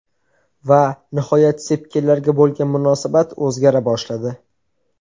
Va nihoyat sepkillarga bo‘lgan munosabat o‘zgara boshladi.